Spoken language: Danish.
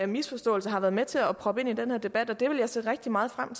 misforståelser har været med til at proppe ind i den her debat det vil jeg se rigtig meget frem